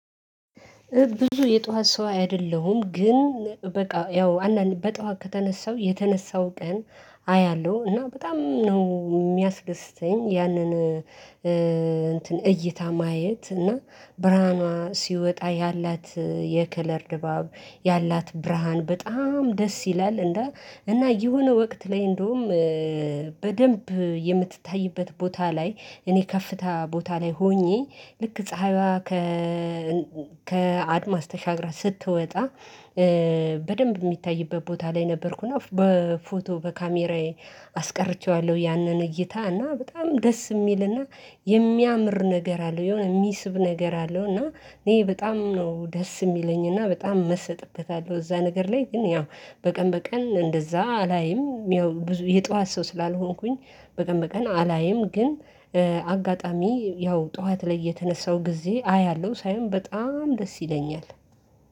ብዙ የጧት ሰው አይደለሁም፤ ግን በቃ ያው አንዳንድ በጧት ከተነሳሁ የተነሳሁ ቀን አያለሁ እና በጣም ነው የሚያስደስተኝ፤ ያንን እንትን እይታ ማየት እና ብርሃኗ ሲወጣ ያላት የከለር ድባብ፣ ያላት ብርሃን፣ በጣም ደስ ይላል እና እና የሆነ ወቅት ላይ እንደውም በደንብ የምትታይበት ቦታ ላይ እኔ ከፍታ ቦታ ላይ ሆኜ ልክ ፀሀይዋ ከ ከአድማስ ተሻግራ ስትወጣ በደንብ የሚታይበት ቦታ ላይ ነበርኩና በፎቶ በካሜራዬ አስቀርቼዋለሁ ያንን እይታ እና በጣም ደስ የሚልና የሚያምር ነገር አለ፤ የሆነ የሚስብ ነገር አለው እና እኔ በጣም ነው ደስ የሚለኝ እና በጣም መሰጥበታለሁ እዛ ነገር ላይ ግን ያው በቀን በቀን እንደዛ አላይም፤ ያው የጧት ሰው ስላልሆንኩኝ በቀን በቀን አላይም ግን አጋጣሚ ያው ጠዋት ላይ የተነሳው ጊዜ አያለሁ ሳይሆን በጣም ደስ ይለኛል።